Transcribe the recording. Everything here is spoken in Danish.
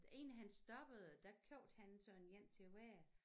Inden han stoppede der købte han sådan en til hver